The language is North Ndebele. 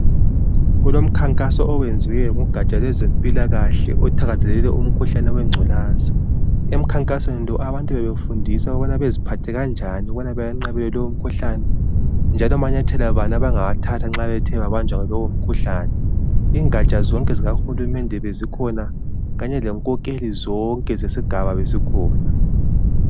Kulomkhankaso owenziwe lugaja lwempilakahle, othakazelele umkhuhlane wengculaza. Emkhankasweni lo abantu bebefundiswa ukubana beziphathe kanjani, ukuze bawenqabele lumkhuhlane, njalo ngamanyathelo bani abangawathatha nxa bethe bahlaselwa yilo umkhuhlane. Ingaja zonke zikahulumende bezikhona, kanye lenkokheli zonke zesigaba bezikhona.